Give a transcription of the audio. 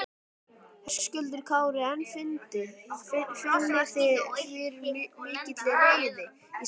Höskuldur Kári: En finnið þið fyrir mikilli reiði í samfélaginu?